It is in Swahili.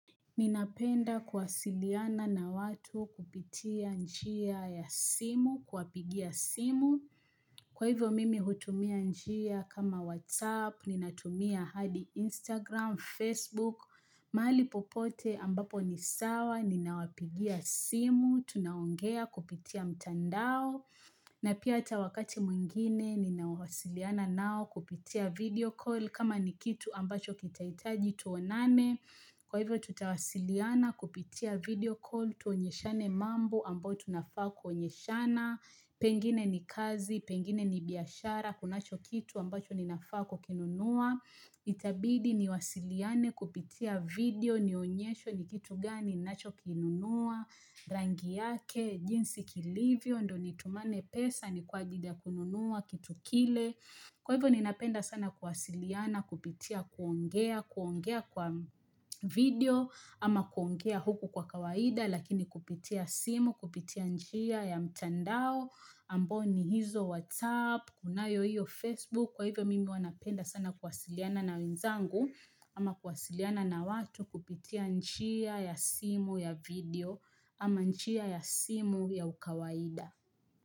Ninapenda kuwasiliana na watu kupitia njia ya simu, kuwapigia simu, kwa hivyo mimi hutumia njia kama WhatsApp, ninatumia hadi Instagram, Facebook, maali popote ambapo ni sawa, ninawapigia simu, tunaongea kupitia mtandao, na pia hata wakati mwingine ninawasiliana nao kupitia video call kama ni kitu ambacho kitaitaji tuonane Kwa hivyo tutawasiliana kupitia video call tuonyeshane mambo ambayo tunafaa kuonyeshana Pengine ni kazi, pengine ni biashara kunacho kitu ambacho ninafaa kukinunua Itabidi niwasiliane kupitia video nionyeshwe ni kitu gani nacho kinunua rangi yake, jinsi kilivyo, ndo ni tumane pesa, ni kwa ajili ya kununua, kitu kile kwa hivyo ni napenda sana kuwasiliana, kupitia kuongea, kuongea kwa video ama kuongea huku kwa kawaida, lakini kupitia simu, kupitia njia ya mtandao ambo ni hizo WhatsApp, kunayo iyo Facebook kwa hivyo mimi huanapenda sana kuwasiliana na winzangu ama kuwasiliana na watu, kupitia njia ya simu, ya video ama njia ya simu ya ukawaida.